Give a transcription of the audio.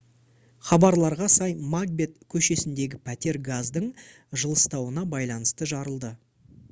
хабарларға сай макбет көшесіндегі пәтер газдың жылыстауына байланысты жарылды